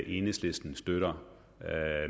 enhedslisten støtter